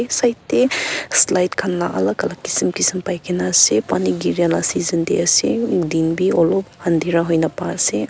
side tey slide khan la alak alak kisim kisim paikena ase pani giria la season tey ase din bi olop andhera huina paiase.